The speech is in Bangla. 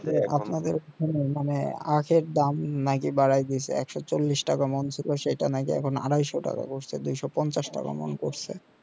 সেই আপনাদের দোকানে মানে আখের দাম নাকি বাড়ায় দিচ্ছে একশো চলিস টাকা মন ছিল সেটা নাকি এখন আড়াইশো টাকা করছে দুশো পঞ্চাশ টাকা মন করছে